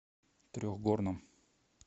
трехгорном